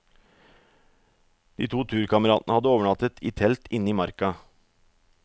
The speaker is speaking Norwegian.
De to turkameratene hadde overnattet i telt inne i marka.